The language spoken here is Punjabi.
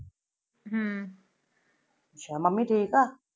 ਅੱਛਾ ਮੰਮੀ ਠੀਕ ਆ?